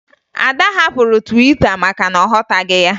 Ada hapụrụ Twita maka na ọ ghọtaghị ya